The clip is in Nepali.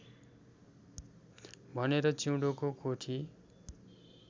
भनेर चिउँडोको कोठी